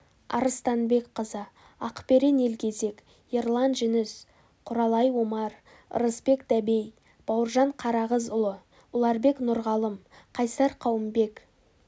арыстанбекқызы ақберен елгезек ерлан жүніс құралай омар ырысбек дәбей бауыржан қарағызұлы ұларбек нұрғалым қайсар қауымбек